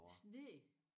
Sne